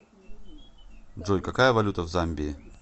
джой какая валюта в замбии